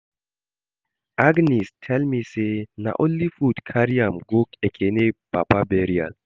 Agnes tell me say na only food carry am go Ekene papa burial